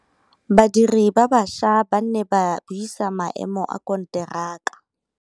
Badiri ba baša ba ne ba buisa maêmô a konteraka.